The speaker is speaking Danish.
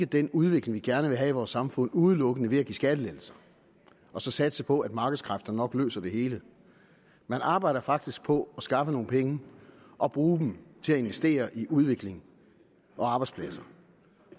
den udvikling vi gerne vil have i vores samfund udelukkende ved at give skattelettelser og så satse på at markedskræfterne nok løser det hele man arbejder faktisk på at skaffe nogle penge og bruge dem til at investere i udvikling og arbejdspladser